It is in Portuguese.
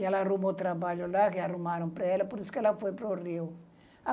Ela arrumou trabalho lá, arrumaram para ela, por isso que ela foi para o Rio.